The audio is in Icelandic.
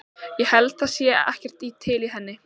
Ég held það sé ekkert til í henni.